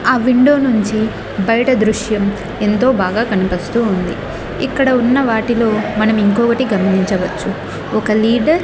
ఆ విండో నుంచి బయట దృశ్యం ఎంతో బాగా కనిపిస్తూ ఉంది ఇక్కడ ఉన్న వాటిలో మనం ఇంకొటి గమనించవచ్చు ఒక లీడర్ .